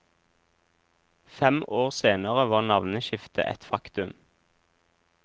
Fem år senere var navneskiftet et faktum.